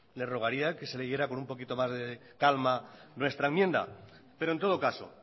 le rogaría que se leyera con un poquito más de calma nuestra enmienda pero en todo caso